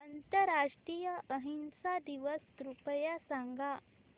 आंतरराष्ट्रीय अहिंसा दिवस कृपया सांगा